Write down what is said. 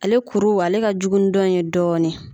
Ale kuru ale ka jugu ni dɔn in ye dɔɔnin